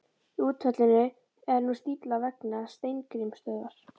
Í útfallinu er nú stífla vegna Steingrímsstöðvar.